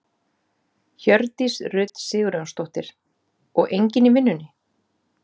Hjördís Rut Sigurjónsdóttir: Og enginn í vinnunni?